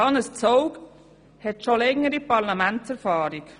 Hannes Zaugg hat bereits längere Parlamentserfahrung.